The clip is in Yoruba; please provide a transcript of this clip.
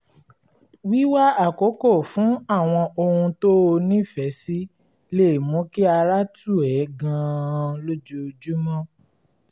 wíwá àkókò fún àwọn ohun tó o nífẹ̀ẹ́ sí lè mú kí ara tù ẹ́ gan-an lójoojúmọ́